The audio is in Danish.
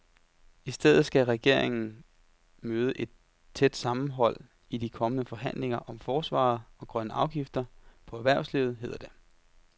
I stedet skal regeringen møde et tæt sammenhold i de kommende forhandlinger om forsvaret og grønne afgifter på erhvervslivet, hedder det.